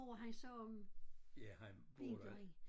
Bor han så om vinteren?